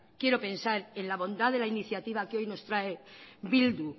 quiero pensar en la bondad de la iniciativa que hoy nos trae bildu